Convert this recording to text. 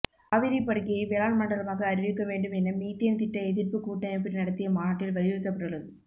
காவிரிப்படுகையைப் வேளாண்மண்டலமாக அறிவிக்கவேண்டும் என மீத்தேன் திட்ட எதிர்ப்புக் கூட்டமைப்பு நடத்திய மாநாட்டில் வலியுறுத்தப்பட்டுள்ளது